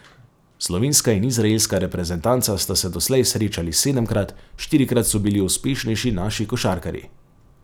Slovenska in izraelska reprezentanca sta se doslej srečali sedemkrat, štirikrat so bili uspešnejši naši košarkarji.